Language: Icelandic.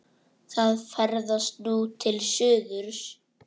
Það ferðast nú til suðurs.